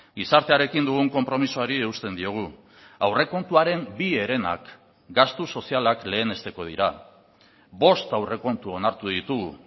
gizartearekin dugun konpromisoari eusten diogu aurrekontuaren bi herenak gastu sozialak lehenesteko dira bost aurrekontu onartu ditugu